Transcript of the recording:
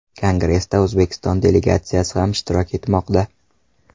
Kongressda O‘zbekiston delegatsiyasi ham ishtirok etmoqda.